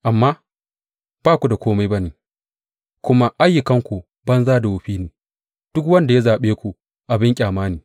Amma ku ba kome ba ne kuma ayyukanku banza da wofi ne; duk wanda ya zaɓe ku abin ƙyama ne.